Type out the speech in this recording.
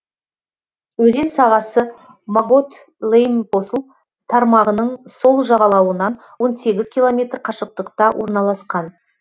өзен сағасы могот лейм посл тармағының сол жағалауынан он сегіз километр қашықтықта орналасқан